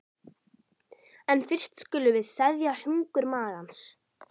En fyrst skulum við seðja hungur magans.